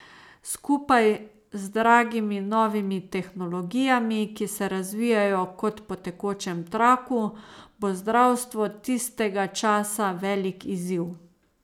Skupaj z dragimi novimi tehnologijami, ki se razvijajo kot po tekočem traku, bo zdravstvo tistega časa velik izziv.